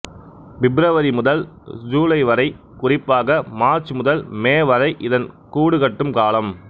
பெப்ருவரி முதல் சூலை வரை குறிப்பாக மார்ச்சு முதல் மே வரை இதன் கூடு கட்டும் காலம்